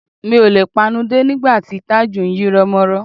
Mi ò le panudé nígbà tí Tájù ń yírọ́mọ́rọ́